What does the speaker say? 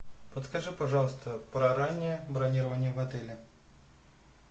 подскажи пожалуйста про раннее бронирование в отеле